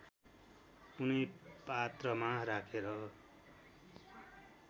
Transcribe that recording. कुनै पात्रमा राखेर